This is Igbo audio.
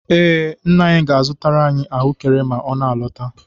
Ee, Nne ga-azụtara anyị ahụekere ma ma ọ lọtawa.